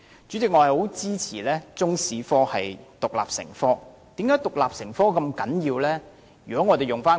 主席，我十分支持中國歷史科獨立成科，為甚麼獨立成科如此重要？